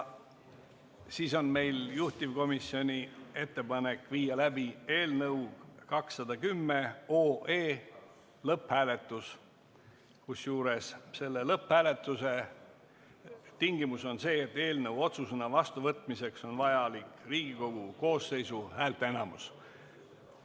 Meil on juhtivkomisjoni ettepanek viia läbi eelnõu 210 lõpphääletus, kusjuures selle lõpphääletuse tingimus on see, et eelnõu otsusena vastuvõtmiseks on vajalik Riigikogu koosseisu häälteenamus.